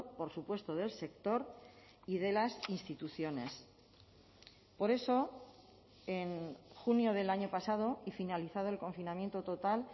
por supuesto del sector y de las instituciones por eso en junio del año pasado y finalizado el confinamiento total